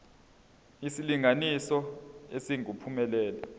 isilinganiso esingu uphumelele